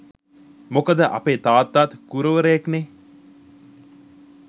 මොකද අපේ තාත්තාත් ගුරුවරයෙක් නේ!